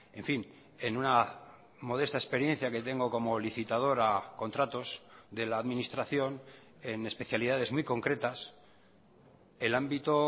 en fin en una modesta experiencia que tengo como licitador a contratos de la administración en especialidades muy concretas el ámbito